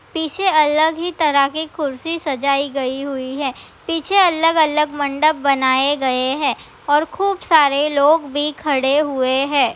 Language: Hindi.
पीछे अलग ही तरह के कुर्सी सजाई गई हुई है। पीछे अलग-अलग मंडप बनाए गए हैं और खूब सारे लोग भी खड़े हुए हैं।